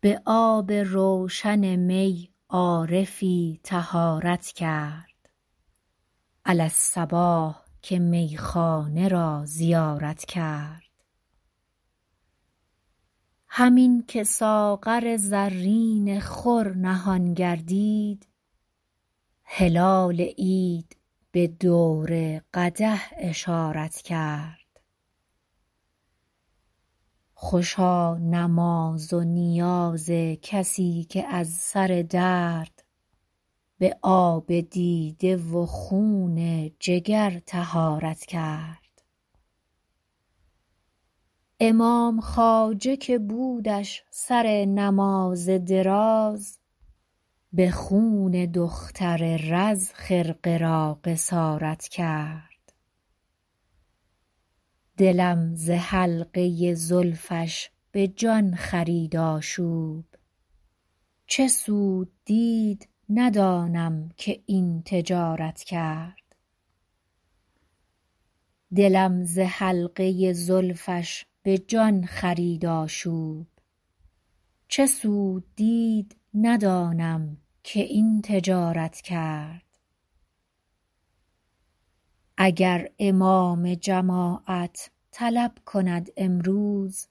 به آب روشن می عارفی طهارت کرد علی الصباح که میخانه را زیارت کرد همین که ساغر زرین خور نهان گردید هلال عید به دور قدح اشارت کرد خوشا نماز و نیاز کسی که از سر درد به آب دیده و خون جگر طهارت کرد امام خواجه که بودش سر نماز دراز به خون دختر رز خرقه را قصارت کرد دلم ز حلقه زلفش به جان خرید آشوب چه سود دید ندانم که این تجارت کرد اگر امام جماعت طلب کند امروز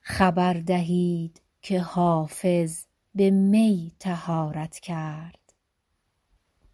خبر دهید که حافظ به می طهارت کرد